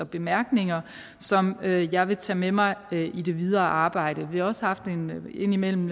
bemærkninger som jeg vil tage med mig i det videre arbejde vi har også haft en indimellem